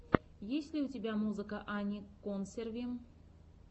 есть ли у тебя музыка ани консерви